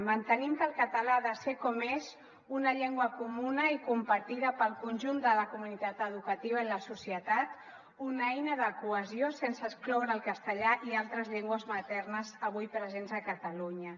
mantenim que el català ha de ser com és una llengua comuna i compartida pel conjunt de la comunitat educativa i la societat una eina de cohesió sense excloure el castellà i altres llengües maternes avui presents a catalunya